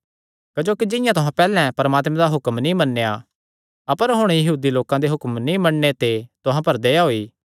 क्जोकि जिंआं तुहां पैहल्ले परमात्मे दा हुक्म नीं मन्नेया अपर हुण यहूदी लोकां दे हुक्म नीं मन्नणे ते तुहां पर दया होई